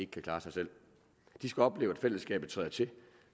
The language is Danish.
kan klare sig selv de skal opleve at fællesskabet træder til